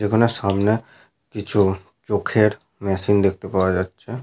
যেখানে সামনে কিছু চোখের মেশিন দেখতে পাওয়া যাচ্ছে।